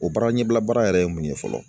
O baara ɲɛbila baara yɛrɛ ye mun ye fɔlɔ